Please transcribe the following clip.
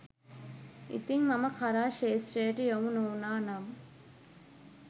ඉතිං මම කලා ක්‍ෂේත්‍රයට යොමු නොවුණා නම්